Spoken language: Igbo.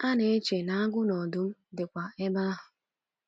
A na-eche na agụ na ọdụm dịkwa ebe ahụ.